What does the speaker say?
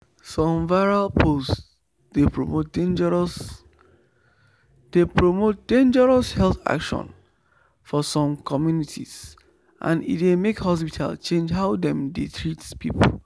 some viral post dey promote dangerous dey promote dangerous health actions for some communities and e dey make hospitals change how dem dey treat people.